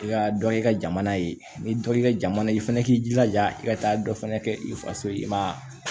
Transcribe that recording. I ka dɔ y'i ka jamana ye n'i ye dɔ y'i ka jamana ye i fɛnɛ k'i jilaja i ka taa dɔ fana kɛ i faso ye i ma